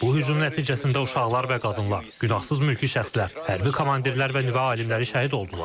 Bu hücum nəticəsində uşaqlar və qadınlar, günahsız mülki şəxslər, hərbi komandirlər və nüvə alimləri şəhid oldular.